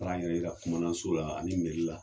Taara n yɛrɛ yira komandanso la ani la.